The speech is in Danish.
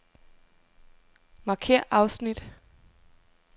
Markér afsnit.